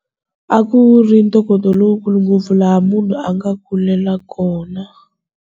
A ku ri ntokoto lowukulu ngopfu laha munhu a nga kulela kona.